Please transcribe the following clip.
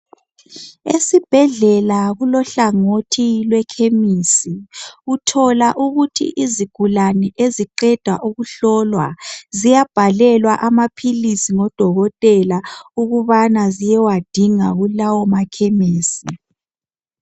Esibhedlela kulohlangothi lwekhemisi. Uthola ukuthi izigulane eziqeda ukuhlolwa, ziyabhalelwa amaphilisi ngodokotela ukubana ziyewadinga kulawo makhemisi.